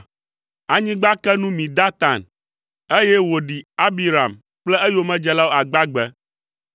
Anyigba ke nu mi Datan, eye wòɖi Abiram kple eyomedzelawo agbagbe.